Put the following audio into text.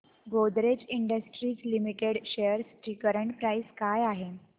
Godrej industries limited shares ची current price काय आहे